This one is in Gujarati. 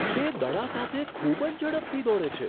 તે દડા સાથે ખૂબ જ ઝડપથી દોડે છે!